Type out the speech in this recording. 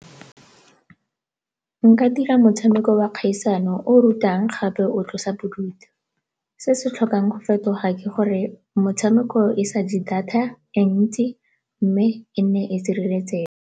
Nka dira motshameko wa kgaisano o o rutang gape o tlosa bodutu. Se se tlhokang go fetoga ke gore motshameko e sa je data e ntsi mme e nne e sireletsege.